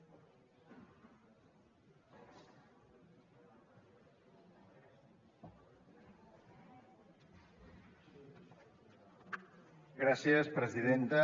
gràcies presidenta